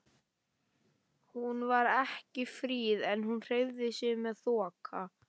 Hún var ekki fríð en hún hreyfði sig með þokka.